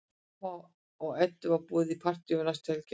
Hemma og Eddu er boðið í partí næstu helgi á eftir.